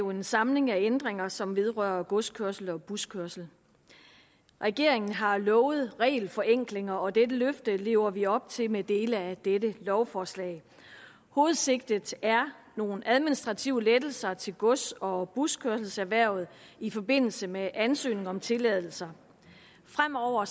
jo en samling af ændringer som vedrører godskørsel og buskørsel regeringen har lovet regelforenklinger og dette løfte lever vi op til med dele af dette lovforslag hovedsigtet er nogle administrative lettelser til gods og buskørselserhvervet i forbindelse med ansøgning om tilladelser fremover